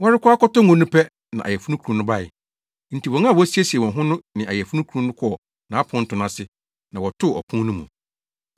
“Wɔrekɔ akɔtɔ ngo no pɛ, na ayeforokunu no bae. Enti wɔn a wɔasiesie wɔn ho no ne ayeforokunu no kɔɔ nʼaponto no ase, na wɔtoo ɔpon no mu.